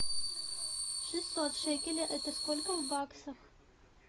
шестьсот шекелей это сколько в баксах